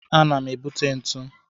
Ana m ebute ntu.